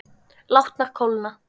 Látnar kólna.